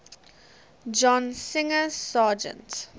john singer sargent